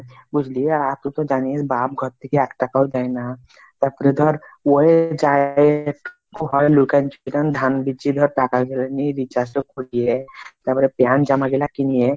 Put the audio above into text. বুজলি আর তুই তো জানিস বাপ ঘর থেকে একটাকাও দেয়না। তারপরে ধর লুকান চুপান ধান বিচি ধর টাকা গুলা নিয়ে recharge টো করলে তারপরে প্যান্ট জামা টা কিনি।